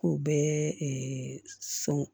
K'u bɛ sɔn